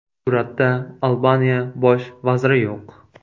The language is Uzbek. Suratda Albaniya bosh vaziri yo‘q.